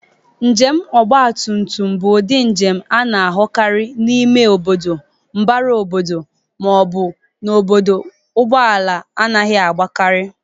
Njem ọgbatụmtum bụ ụdị njem a na-ahụtakarị n'ime obodo, mbagara obodo, ma ọ bụ n'obodo ndị ụgbọ ala na-adịghị agbakarị.